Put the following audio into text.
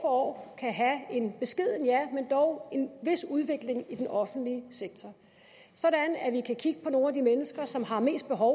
år kan have en beskeden ja men dog en vis udvikling i den offentlige sektor så vi kan kigge på nogle af de mennesker som har mest behov